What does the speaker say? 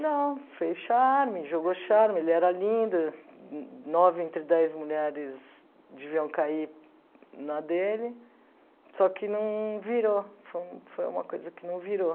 Não, fez charme, jogou charme, ele era lindo, nove entre dez mulheres deviam cair na dele, só que não virou, foi foi uma coisa que não virou.